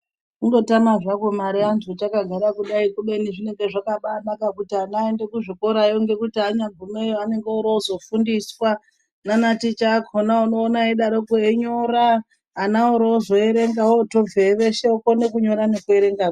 Kundotama zvakwo mare antu takagara kudai kubeni zvinenge zvakabanaka kuti ana aende kuzvikorayo ngekuti anyagumeyo qnenge orozofundiswa nanaticha akhona unoona eidarokwo einyora ana orozoerenga ozobveyo veshe vokone kunyora nekuerenga .